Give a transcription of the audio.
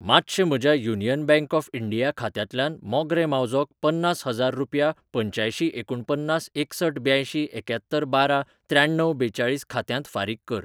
मातशें म्हज्या Union Bank of India खात्यांतल्यान मोगरें मावजोक पन्नास हजार रुपया पंच्यांयशी एकुणपन्नास एकसठ ब्यांयशीं एक्यात्तर बारा त्र्याण्णव बेचाळीस खात्यांत फारीक कर. .